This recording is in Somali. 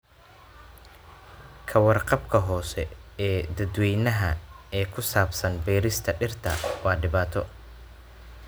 Ka warqabka hoose ee dadweynaha ee ku saabsan beerista dhirta waa dhibaato.